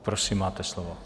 Prosím, máte slovo.